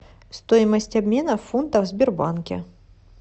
стоимость обмена фунтов в сбербанке